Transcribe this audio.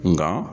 Nga